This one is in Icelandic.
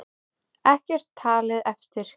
Ekkert talið eftir.